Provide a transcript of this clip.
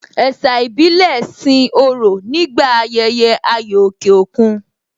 Ẹ̀sà ìbílẹ̀ sin òrò nígbà ayẹyẹ ayò òkè òkun